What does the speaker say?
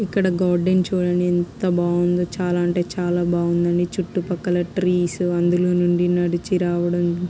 ఇక్కడ గార్డెన్ చూడండిఎంత బాగుందో. చాలా అంటే చాల బాగుందండి. చుట్టూ పక్కల ట్రీస్ అందులో నుండి నడిచి రావడం--